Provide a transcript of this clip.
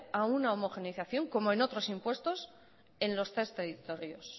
a una homogeneización como en otros impuestos en los tres territorios